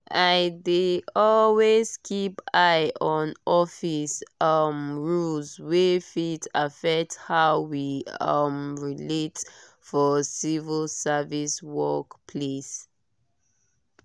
i dey always keep eye on office um rules wey fit affect how we um relate for civil service work place.